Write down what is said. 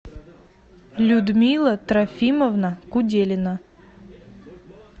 людмила трофимовна куделина